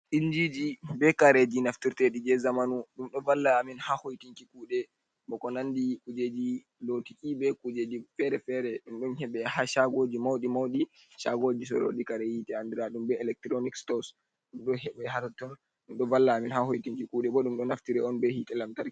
Injiiji, be kareji naftirteɗi je zamanu, ɗum ɗo valla amin haa hoytinki kuuɗe, ba ko nandi kuujeji lootuki, be kuujeji fere-fere, ɗum ɗon heɓe haa chaagooji mawɗi-mawdi, chaagooji soorooji kare hiite, andiraaɗum be elekturoonik-stoos, ɗum ɗo heɓe haa totton, ɗum ɗo valla amin haa hoytinki kuuɗe. Boo ɗum ɗo naftire on be hiite lamtarki.